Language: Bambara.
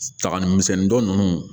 Saga ni misɛnnin dɔ ninnu